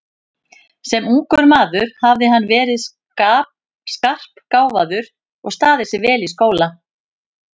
Sem ungur maður hafði hann verið skarpgáfaður og staðið sig vel í skóla.